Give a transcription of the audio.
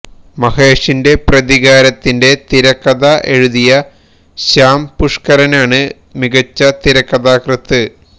മഹേഷിന്റെ പ്രതികാരത്തിന്റെ തിരക്കഥ എഴുതിയ ശ്യാം പുഷ്കരനാണ് മികച്ച തിരക്കഥാകൃത്ത്